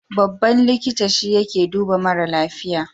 Babban likita shi yake duba mara lafiya.